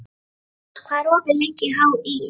Dugfús, hvað er opið lengi í HÍ?